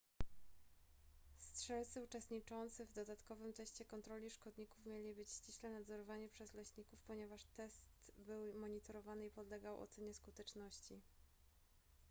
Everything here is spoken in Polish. strzelcy uczestniczący w dodatkowym teście kontroli szkodników mieli być ściśle nadzorowani przez leśników ponieważ test był monitorowany i podlegał ocenie skuteczności